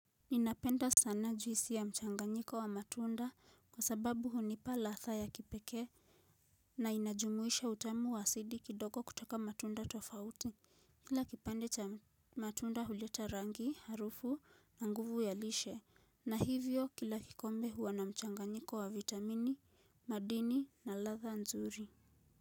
Ninapenda sana juisi ya mchanganyiko wa matunda kwa sababu hunipa ladha ya kipekee. Na inajumuisha utamu wa asidi kidogo kutoka matunda tofauti. Kila kipande cha matunda huleta rangi, harufu na nguvu ya lishe. Na hivyo kila kikombe huwa na mchanganyiko wa vitamini, madini na ladha nzuri.